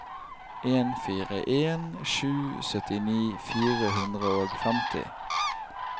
en fire en sju syttini fire hundre og femti